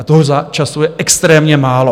A toho času je extrémně málo.